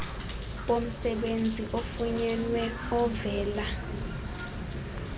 bomsebenzi ofunyenweyo ovela